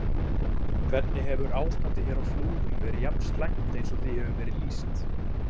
Hefur ástandið hér á Flúðum verið jafn slæmt eins og því hefur verið lýst?